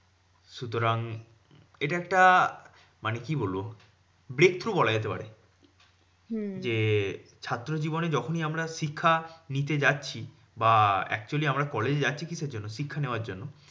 সুতরাং এটা একটা, মানে কি বলবো? breakthrough বলা যেতে পারে। যে ছাত্র জীবনে যখনি আমরা শিক্ষা নিতে যাচ্ছি বা actually আমরা college এ যাচ্ছি কিসের জন্যে? শিক্ষা নেওয়ার জন্য।